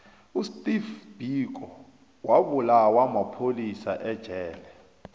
usteve biko wabulawa mapholisa ejele